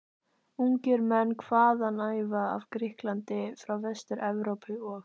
Ungir menn hvaðanæva af Grikklandi, frá Vestur-Evrópu og